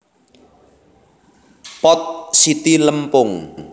Pot siti lempung